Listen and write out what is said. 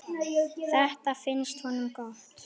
Þetta finnst honum gott.